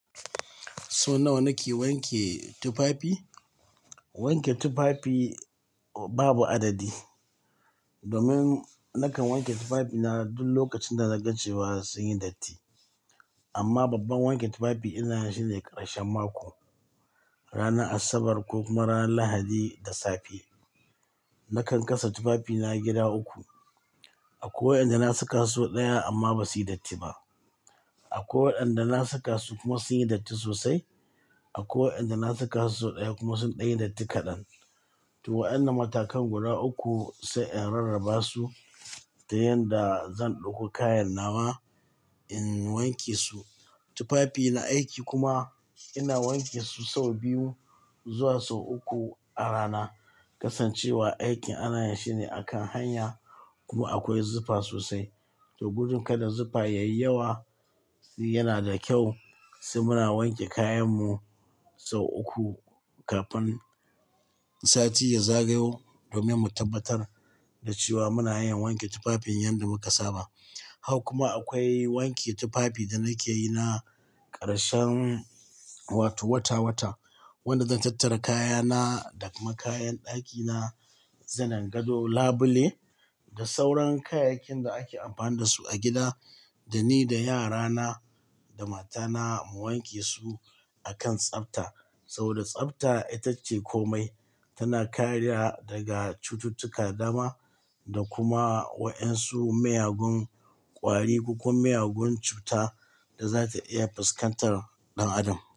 So nawa nake wanke tufafi? Wanke tufafi babu adadi. Domin nakan wanke tufafina duk lokacin da naga cewa sunyi datti. Amma babban wanke tufafi ina yinshi ne ƙarshen mako, ranar Asabar ko kuma ranar Lahadi da safe. Nakan kasa tufafina gida uku. Akwai waɗanda na saka sau ɗaya amma ba suyi datti ba. Akwai waɗanda na saka su kuma sun yi datti sosai. Akwai waɗanda na saka sau sau ɗaya kuma sun ɗaglyi datti kaɗan. To waɗannan matakan guda uku sai in rarraba su da yanda zan ɗauko kayan nawa in wanke su. Tufafi na aiki kuma ina wanke su sau biyu zuwa sau uku a rana. Kasancewa aikin ana yashi ne akan hanya kuma akwai zufa sosai. To gudun kada zufa yayi yawa yanada kyau sai muna wanke kayanmu sau uku kafin sati ya zagayo domin mu tabbatar da cewa muna hayan wanke tufafin yanda muka saba. Haka kuma akwai wanke tufafi da nakeyi na ƙarshen, wato wata wata. Wanda zan tattara kayana da kuma kayan ɗakina, zanin gado, labule da sauran kayayyakin da ake amfani da su a gida dani da yarana da matana mu wanke su akan tsafta. Saboda tsabta itace komai. Tana karya daga cututtuka da dama da kuma waɗansu miyagun ƙwari ko kuma miyagun cuta da za ta iya fuskantar ɗan adam.